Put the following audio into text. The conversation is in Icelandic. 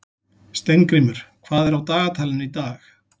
Steingrímur, hvað er á dagatalinu í dag?